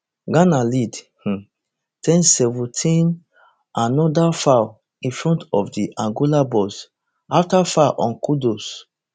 ghana lead um ten seventeenanoda foul in front of di angola box afta foul on kudus